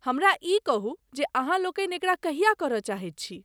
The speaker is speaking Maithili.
हमरा ई कहू जे अहाँलोकनि एकरा कहिया करय चाहैत छी?